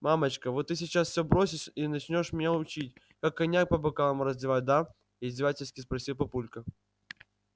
мамочка вот ты сейчас всё бросишь и начнёшь меня учить как коньяк по бокалам разливать да издевательски спросил папулька